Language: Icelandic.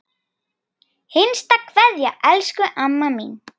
HINSTA KVEÐJA Elsku amma mín.